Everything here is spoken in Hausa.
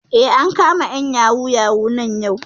Eh, an kama ƴan yahoo yahoo nan yau